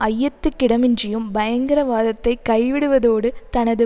ஐயத்துக்கிடமின்றியும் பயங்கரவாதத்தை கைவிடுவதோடு தனது